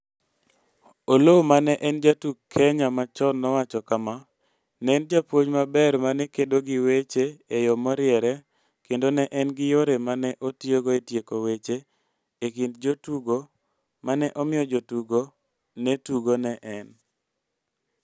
Oloo ma ne en jatuk Kenya machon nowacho kama: "Ne en japuonj maber ma ne kedo gi weche e yo moriere kendo ne en gi yore ma ne otiyogo e tieko weche e kind jotugo ma ne omiyo jotugo ne tugo ne en.